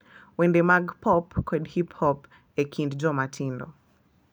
Wende mag pop, kod hip-hop e kind joma tindo.